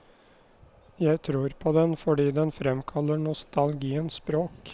Jeg tror på den fordi den fremkaller nostalgiens språk.